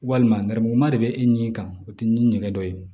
Walima nɛrɛmuguma de bɛ e ni kan o tɛ ni nɛgɛ dɔ ye